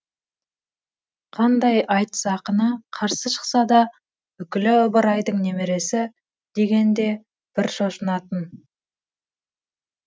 қандай айтыс ақыны қарсы шықса да үкілі ыбырайдың немересі дегенде бір шошынатын